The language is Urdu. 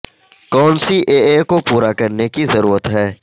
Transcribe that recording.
کون سی اے اے کو پورا کرنے کی ضرورت ہے